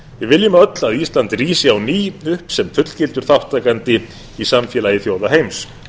við viljum öll að ísland rísi upp á ný sem fullgildur þátttakandi í samfélagi þjóða heims